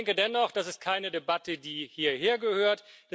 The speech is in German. Aber ich denke dennoch, das ist keine Debatte, die hierhergehört.